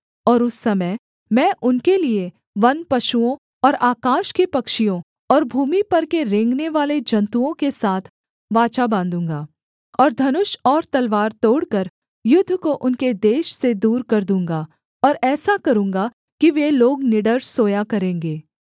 और उस समय मैं उनके लिये वनपशुओं और आकाश के पक्षियों और भूमि पर के रेंगनेवाले जन्तुओं के साथ वाचा बाँधूँगा और धनुष और तलवार तोड़कर युद्ध को उनके देश से दूर कर दूँगा और ऐसा करूँगा कि वे लोग निडर सोया करेंगे